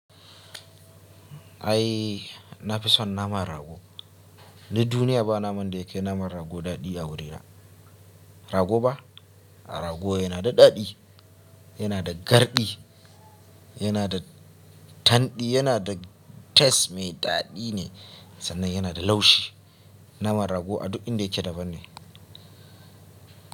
Ai nafison naman rago. Ni duniya ba naman da yakai naman rago dadi a wurina. Rago ba? Rago yana da dadi, yana da gardi, yana da tandi, yana da taste mai dadi ne sannan yana da laushi. Naman rago a duk inda yake daban ne.